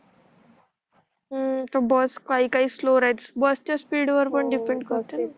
हो बस काही स्लो स्लो चालते बस च्या स्पीड व डिपेंड करते